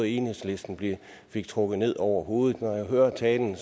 enhedslisten fik trukket ned over hovedet når jeg hører talen